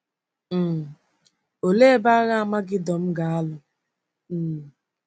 um Òlee ebe Agha Amagedọn ga-alụ? um